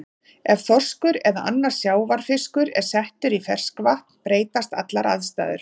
Ef þorskur eða annar sjávarfiskur er settur í ferskvatn breytast allar aðstæður.